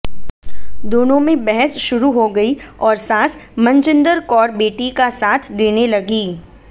दोनों में बहस शुरू हो गई और सास मनजिंदर कौर बेटी का साथ देने लगी